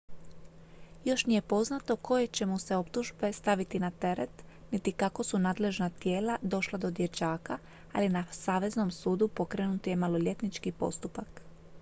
još nije poznato koje će mu se optužbe staviti na teret niti kako su nadležna tijela došla do dječaka ali na saveznom sudu pokrenut je maloljetnički postupak